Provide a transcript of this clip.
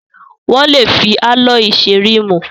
Wọ́n lè fi álọ́ọ̀yì ṣe ríìmù.